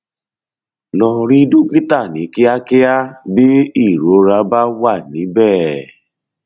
lọ rí dókítà ní kíákíá bí ìrora bá wà níbẹ